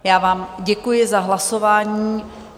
Já vám děkuji za hlasování.